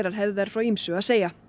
hefðu þær frá ýmsu að segja